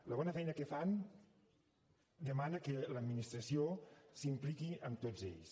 la bona feina que fan demana que l’administració s’impliqui amb tots ells